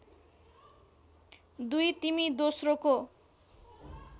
२ तिमी दोस्रोको